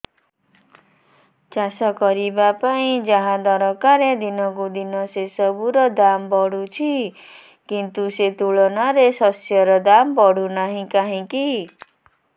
ଚାଷ କରିବା ପାଇଁ ଯାହା ଦରକାର ଦିନକୁ ଦିନ ସେସବୁ ର ଦାମ୍ ବଢୁଛି କିନ୍ତୁ ସେ ତୁଳନାରେ ଶସ୍ୟର ଦାମ୍ ବଢୁନାହିଁ କାହିଁକି